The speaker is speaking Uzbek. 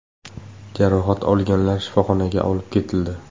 Jarohat olganlar shifoxonaga olib ketildi.